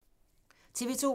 TV 2